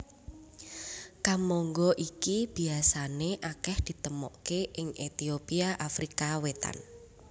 Kemangga iki biasané akèh ditemokaké ing Etiopia Afrika Wétan